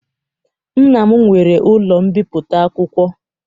Nna m nwere ụlọ mbipụta akwụkwọ